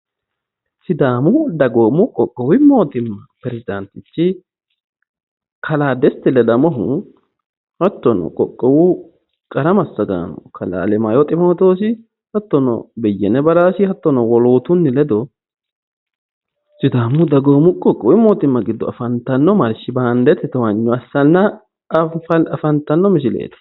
Sidaamu dagoomu qoqowu mootima peresidaantichi kalaa desti ledamohu hattono qoqowu qarra masagaano kalaa alemaayo ximootosi hattono beyene baraasi hattono wolootunni ledo sidaamu dagoomu qoqowu mootima gido afantano marshi-baandete towaanyo assanna afantano misileeti.